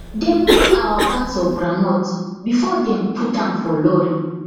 dem weigh our bags of groundnut before dem put am for lorry